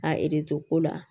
A ereto ko la